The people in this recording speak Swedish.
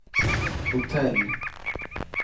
hotell